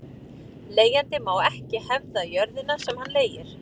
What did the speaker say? Leigjandi má ekki hefða jörðina sem hann leigir.